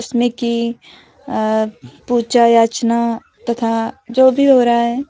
जिसमें कि अह पूजा अर्चना तथा जो भी हो रहा है।